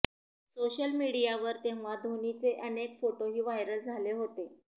social मीडियावर तेव्हा धोनीचे अनेक फोटोही व्हायरल झाले होते